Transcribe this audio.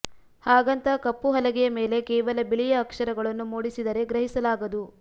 ಹಾಗಂತ ಕಪ್ಪು ಹಲಗೆಯ ಮೇಲೆ ಕೇವಲ ಬಿಳಿಯ ಅಕ್ಷರಗಳನ್ನು ಮೂಡಿಸಿದರೆ ಗ್ರಹಿಸಲಾಗದು